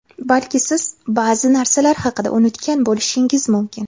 Balki siz ba’zi narsalar haqida unutgan bo‘lishingiz mumkin.